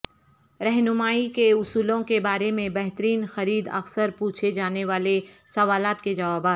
رہنمائی کے اصولوں کے بارے میں بہترین خرید اکثر پوچھے جانے والے سوالات کے جوابات